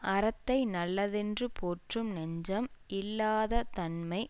அறத்தை நல்லதென்று போற்றும் நெஞ்சம் இல்லாததன்மை